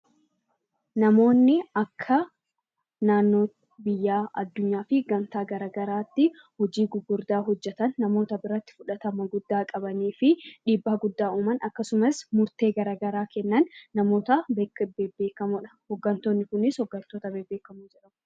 Namoonni akka naannoo, biyyaa, addunyaa fi gamtaa garaagaraatti hojii gugurdaa hojjetan, namoota biratti fudhatama guddaa qabanii fi dhiibbaa guddaa uuman akkasumas murtee garagaraa kennan namoota bebbeekamoo dha. Hooggantoonni kunis hooggantoota bebbeekamoo jedhamu.